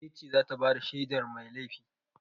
Wace ce za ta ba da shaidar mai laifi?